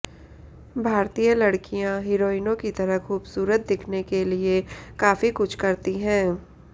भारतीय लड़कियां हीरोइनों की तरह खूबसूरत दिखने के लिए काफी कुछ करती है